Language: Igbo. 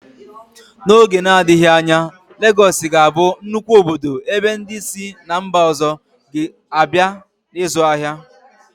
N'oge na-adịghị anya, Legọọsị ga-abụ nnukwu obodo ebe ndị si ná mba ọzọ ga-abịa ịzụ ahịa.